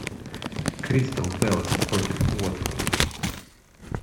кристал пэлас против уотфорда